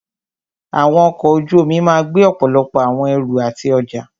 Àwọn ọkọ̀ ojú omi máà gbé ọ̀pọ̀lọpọ̀ àwọn ẹrù àti ọjá.